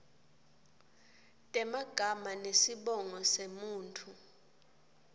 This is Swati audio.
temagama nesibongo semuntfu